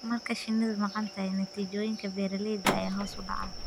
Marka shinnidu maqan tahay, natiijooyinka beeralayda ayaa hoos u dhacaya.